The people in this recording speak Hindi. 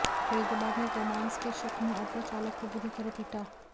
फरीदाबाद में गोमांस के शक में ऑटो चालक को बुरी तरह पीटा